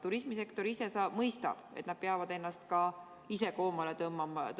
Turismisektor mõistab, et nad peavad ennast ka ise koomale tõmbama.